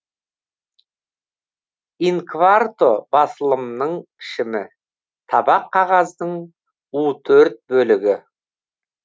ин кварто басылымның пішімі табақ қағаздың у төрт бөлігі